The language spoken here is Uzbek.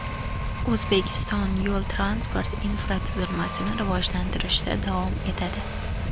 O‘zbekiston yo‘l-transport infratuzilmasini rivojlantirishda davom etadi.